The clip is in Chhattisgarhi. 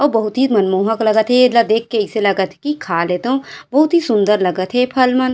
ओ बहुत ही मनमोहक लगत हे एला देख के अइसे लागत हे की खा लेतेव बहुत ही सुन्दर लगत हे फल मन--